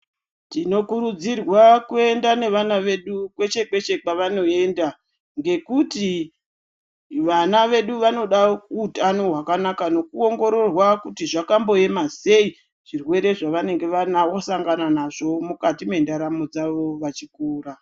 Tinokurudzirwa kuer nda nevana vesu kweeshe kweshe kwavanoeenda ngekuti vana vesu vanoda utano hwakanaka nekuongororwa kuti zvakamboema sei zvirwere zvavanenge vasangana nazvo mukati mendaramo dzavo vachikura.